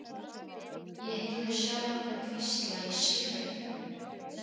Ég heyrði sjálfa mig hvísla í sífellu